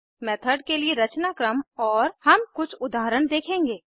method के लिए रचनाक्रम और हम कुछ उदाहरण देखेंगे